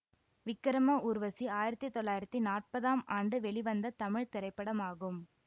விக்ரம ஊர்வசி ஆயிரத்தி தொள்ளாயிரத்தி நாற்பதாம் ஆண்டு வெளிவந்த தமிழ் திரைப்படமாகும்